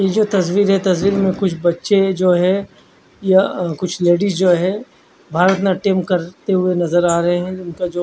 यह तस्वीर है तस्वीर में कुछ बच्चे जो है या कुछ लेडिस जो हैं भारत नाट्यम करते हुए नजर आ रहे हैं उनका जो--